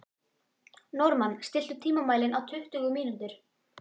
Normann, stilltu tímamælinn á tuttugu mínútur.